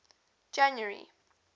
january